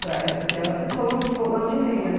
para é. Porque era tudo fogão de lenha, né?